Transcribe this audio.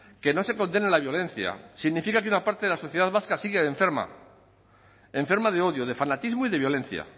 que no se condene la violencia significa que una parte de la sociedad vasca sigue enferma enferma de odio de fanatismo y de violencia